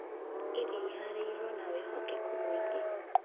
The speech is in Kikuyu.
Iria Ihaarĩirio na Wĩhokeku Mũingĩ